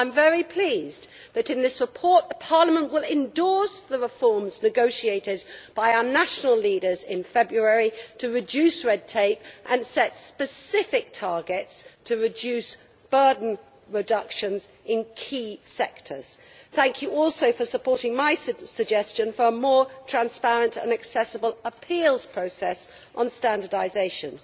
I am very pleased that in this report, Parliament will endorse the reforms negotiated by our national leaders in February to reduce red tape and set specific targets to reduce burden reductions in key sectors. Thank you also for supporting my suggestion for a more transparent and accessible appeals process on standardisations.